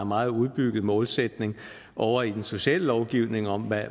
meget udbygget målsætning ovre i den sociale lovgivning om